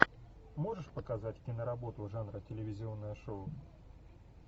можешь показать киноработу жанра телевизионное шоу